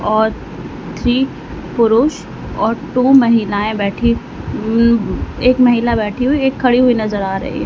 और थ्री पुरुष और टू महिलाएं बैठी उम्म एक महिला बैठी हुई एक खड़ी हुई नजर आ रही है।